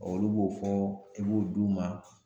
Ɔ olu b'o fɔ i b'o d'u ma.